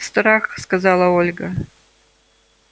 страх сказала ольга